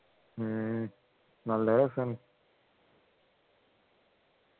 ഉം നല്ല രസാണ്